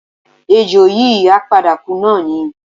Ejò yìí á padà kú náà ni